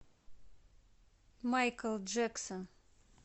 майкл джексон